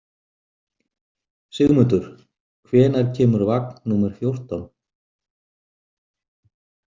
Sigmundur, hvenær kemur vagn númer fjórtán?